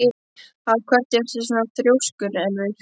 Af hverju ertu svona þrjóskur, Elfur?